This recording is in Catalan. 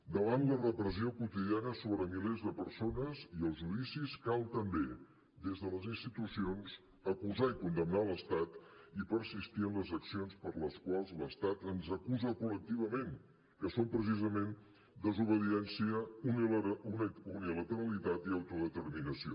davant la repressió quotidiana sobre milers de persones i els judicis cal també des de les institucions acusar i condemnar l’estat i persistir en les accions per les quals l’estat ens acusa col·lectivament que són precisament desobediència unilateralitat i autodeterminació